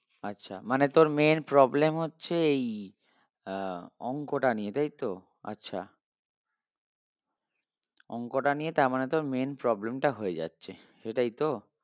আচ্ছা মানে তোর main problem হচ্ছে এই আহ অংকটা নিয়ে তাই তো? আচ্ছা অংকটা নিয়ে তারমানে তোর main problem টা হয়ে যাচ্ছে সেটাই তো?